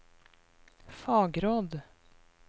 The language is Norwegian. fagråd